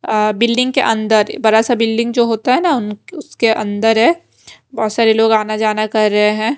अअ building के अंदर बड़ा सा बिल्डिंग जो होता है ना उसके अंदर है बहोत सारे लोग आना जाना कर रहे हैं।